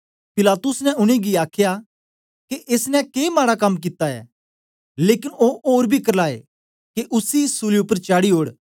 पिलातुस ने उनेंगी आखया के एसनें के माडा कम कित्ता ऐ लेकन ओ ओर बी करलाए के उसी सूली उपर चाडी ओड़